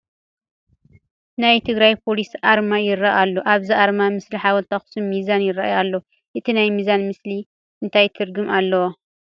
ናይ ትግራይ ፖሊስ ኣርማ ይርአ ኣሎ፡፡ ኣብዚ ኣርማ ምስሊ ሓወልቲ ኣኽሱምን ሚዛንን ይርአያ ኣለዋ፡፡ እታ ናይ ሚዛን ምስሊ እንታይ ትርጉም ኣለዋ?